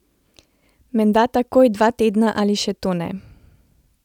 Menda takoj dva tedna ali še to ne!